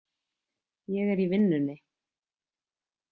Ég er í vinnunni.